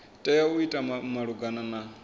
tea u ita malugana na